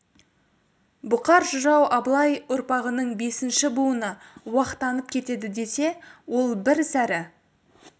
бұқар жырау абылай ұрпағының бесінші буыны уақтанып кетеді десе ол бір сәрі